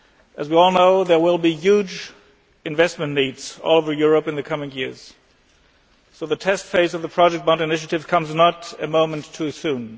As we all know, there will be huge investment needs all over Europe in the coming years, so the test phase of the project bond initiative comes not a moment too soon.